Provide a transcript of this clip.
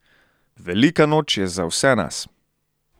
Velika noč je za vse nas!